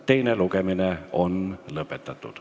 Teine lugemine on lõpetatud.